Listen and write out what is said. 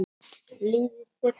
Líður þér betur?